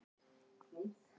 Vilja lengra gæsluvarðhald